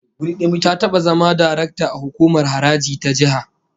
Ta taba zama darakta a hukumar haraji ta jiha